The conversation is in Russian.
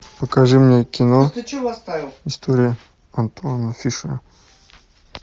покажи мне кино история антуана фишера